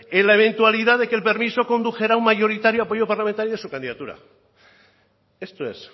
en la eventualidad de que el permiso condujera a un mayoritario apoyo parlamentario de su candidatura esto es